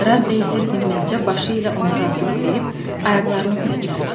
Radde isə dinməzcə başı ilə ona razılıq verib ayaqlarını göstərdi.